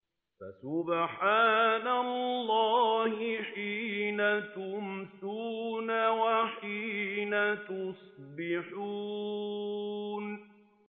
فَسُبْحَانَ اللَّهِ حِينَ تُمْسُونَ وَحِينَ تُصْبِحُونَ